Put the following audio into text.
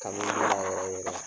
Kanu bɔra yɔrɔ yɔrɔ